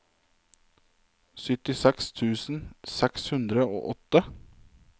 syttiseks tusen seks hundre og åtte